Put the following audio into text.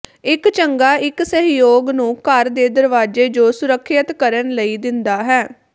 ਇੱਕ ਚੰਗਾ ਇੱਕ ਸਹਿਯੋਗ ਨੂੰ ਘਰ ਦੇ ਦਰਵਾਜ਼ੇ ਜੋ ਸੁਰੱਖਿਅਤ ਕਰਨ ਲਈ ਦਿੰਦਾ ਹੈ